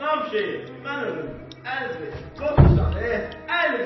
Cənab Şeyx, mən ölüm, əl ver, lotusan e, əl ver.